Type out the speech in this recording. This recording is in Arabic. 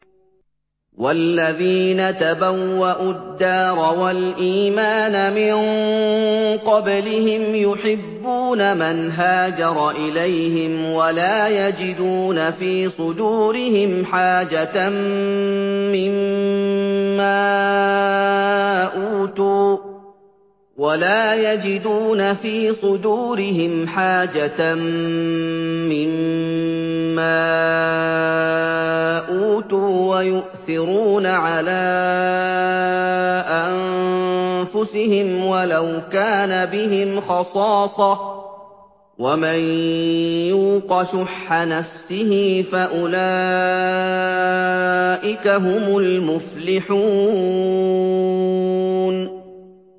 وَالَّذِينَ تَبَوَّءُوا الدَّارَ وَالْإِيمَانَ مِن قَبْلِهِمْ يُحِبُّونَ مَنْ هَاجَرَ إِلَيْهِمْ وَلَا يَجِدُونَ فِي صُدُورِهِمْ حَاجَةً مِّمَّا أُوتُوا وَيُؤْثِرُونَ عَلَىٰ أَنفُسِهِمْ وَلَوْ كَانَ بِهِمْ خَصَاصَةٌ ۚ وَمَن يُوقَ شُحَّ نَفْسِهِ فَأُولَٰئِكَ هُمُ الْمُفْلِحُونَ